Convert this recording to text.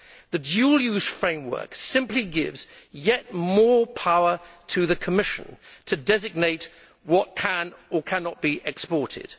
The dual use framework simply gives yet more power to the Commission to designate what can or cannot be exported.